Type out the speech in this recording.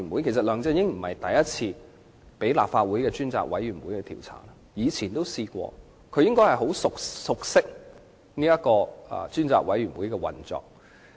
其實，梁振英並非第一次被立法會專責委員會調查，他應該很熟悉專責委員會的運作。